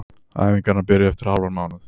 Æfingarnar byrja eftir hálfan mánuð.